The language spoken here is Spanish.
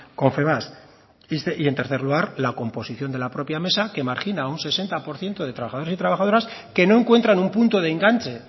confebask y en tercer lugar la composición de la propia mesa que margina a un sesenta por ciento de trabajadores y trabajadoras que no encuentran un punto de enganche